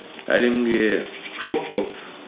әлемге шок болды